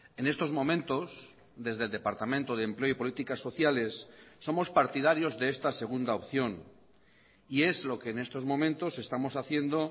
en estos momentos desde el departamento de empleo y políticas sociales somos partidarios de esta segunda opción y es lo que en estos momentos estamos haciendo